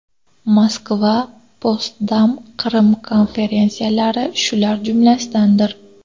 Moskva, Potsdam, Qrim konferensiyalari shular jumlasidandir.